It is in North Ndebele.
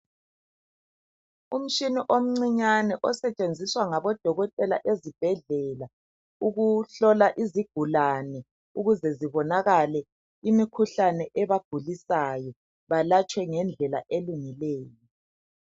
Umtshina omncinyane osetshenziswa ngabo dokotela ezibhedlela, ukuhlola izigulane Ukuze zibonakale imikhuhlane ebagulisayo balatshwe ngendlela elungileyo.